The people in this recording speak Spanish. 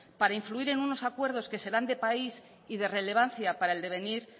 para influir en unos acuerdos que serán de país y de relevancia para el devenir